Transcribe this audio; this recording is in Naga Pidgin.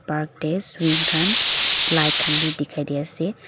park teh swing khan slide khan bi dikhi di ase.